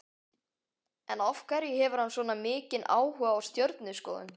En af hverju hefur hann svona mikinn áhuga á stjörnuskoðun?